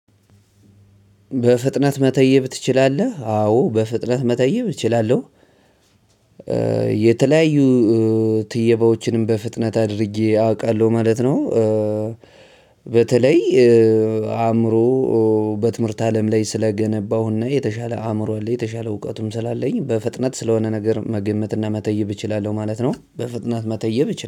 በፍጥነት መተየብ ትችላለህ? አዎ በፍጥነት መተየብ እችላለሁ የተለያዩ ትየባዎችንም በፍጥነት አድርጌ አውቃለሁ ማለት ነው። በተለይ አእምሮ በትምህርት አለም ላይ ስለገነባሁና የተሻለ አእምሮ አለኝ የተሻለ እውቀቱም ስላለኝ በፍጥነት ስለሆነ ነገር መገመት እና መተይብ እችላለሁ ማለት ነው። በፍጥነት መተይብ እች